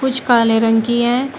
कुछ काले रंग की है।